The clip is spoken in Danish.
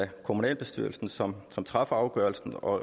kommunalbestyrelsen som som træffer afgørelsen og